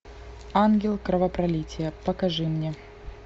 ангел кровопролития покажи мне